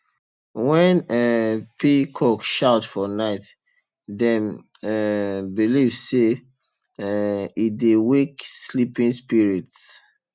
when um peacock shout for night dem um believe say um e dey wake sleeping spirits